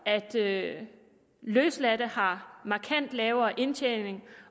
at løsladte har en markant lavere indtjening